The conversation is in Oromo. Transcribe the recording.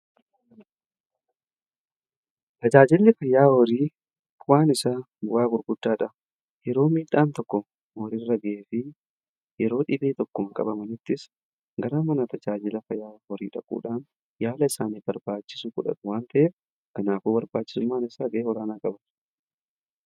Tajaajilli fayyaa horii bu'aan isaa bu'aa gurguddachaa yeroo miidhaan tokko horii irra ga'ee fi yeroo dhibee tokko qabamnuttis gara mana tajaajila fayyaa horii dhaquudhaan yaala isaaniif barbaachisu godhatu waan ta'eef kanaafuu barbaachisummaan isaa baayyee olaanaadha.